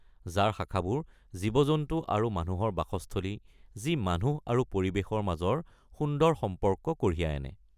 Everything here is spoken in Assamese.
যাৰ শাখাবোৰ জীৱ-জন্তু আৰু মানুহৰ বাসস্থলী, যি মানুহ আৰু পৰিৱেশৰ মাজৰ সুন্দৰ সম্পৰ্ক কঢ়িয়াই আনে।